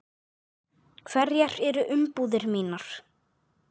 Hverjar eru umbúðir mínar?